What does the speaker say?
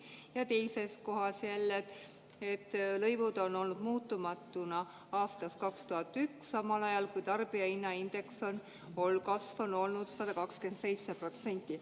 " Ja teises kohas jälle: "Praegu kehtivad lõivud on suures osas püsinud muutumatuna aastast 2001, samal ajal on tarbijahinnaindeksi kasv olnud umbes 127%.